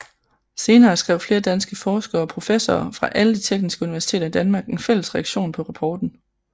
Senere skrev flere danske forskere og professorer fra alle de tekniske universiteter i Danmark en fælles reaktion på rapporten